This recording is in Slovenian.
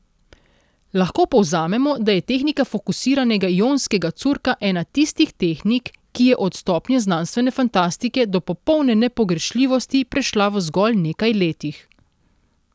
Lahko povzamemo, da je tehnika fokusiranega ionskega curka ena tistih tehnik, ki je od stopnje znanstvene fantastike do popolne nepogrešljivosti prešla v zgolj nekaj letih.